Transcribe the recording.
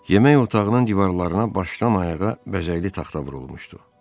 Yemək otağının divarlarına başdan ayağa bəzəkli taxta vurulmuşdu.